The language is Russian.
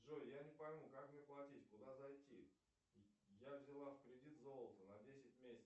джой я не пойму как мне платить куда зайти я взяла в кредит золото на десять месяцев